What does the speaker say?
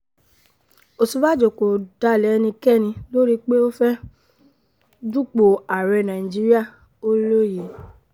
Osibajo ko dalẹ ẹnikẹni lori pe o fẹ du po aarẹ naijiria, o loye